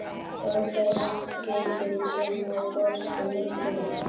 Og athugar skeytin sem hafa borist um nóttina?